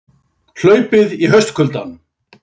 Hlaupið í haustkuldanum